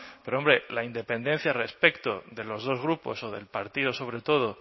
pero hombre la independencia respecto de los dos grupos o del partido sobre todo